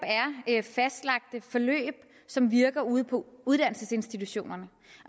er fastlagte forløb som virker ude på uddannelsesinstitutionerne